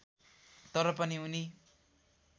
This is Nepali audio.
तर पनि उनी